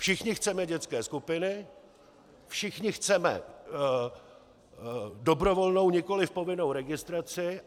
Všichni chceme dětské skupiny, všichni chceme dobrovolnou, nikoliv povinnou registraci.